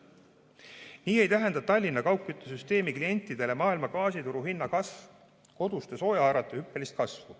Nii ei tähenda Tallinna kaugküttesüsteemi klientidele gaasi maailmaturuhinna kasv koduste soojaarvete hüppelist kasvu.